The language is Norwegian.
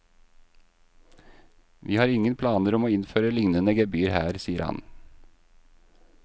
Vi har ingen planer om å innføre lignende gebyr her, sier han.